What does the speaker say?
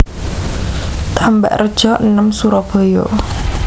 Tambakrejo enem Surabaya